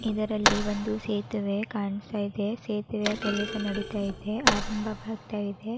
ಇದರಲ್ಲಿ ಒಂದು ಸೇತುವೆ ಕಾಣ್ತಾ ಇದೆ ಸೇತುವೆಯ ಕೆಲಸ ನಡೀತಾ ಇದೆ ಆರಂಬವಾಗ್ತಾ ಇದೆ.